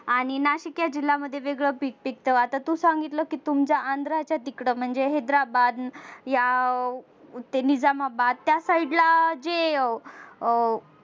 आणि नाशिक या जिल्ह्यांमध्ये वेगळं पीक पिकत आता तू सांगितलं कि तुमच्या आंध्राच्या तिकड म्हणजे हैद्राबाद या ते निजामाबाद या side ला जे